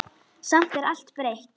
Samt er allt breytt.